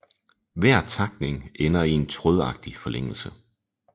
Hver takning ender i en trådagtig forlængelse